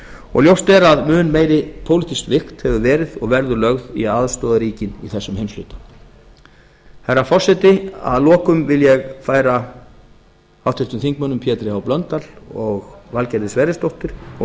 og ljóst er að mun meiri pólitísk vigt hefur verið og verður lögð í að aðstoða ríkin í þessum heimshlutum hæstvirtur forseti að lokum vil ég færa háttvirtur þingmaður pétri h blöndal og valgerði sverrisdóttur og